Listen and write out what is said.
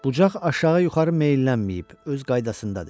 "Bucaq aşağı yuxarı meylənməyib, öz qaydasındadır."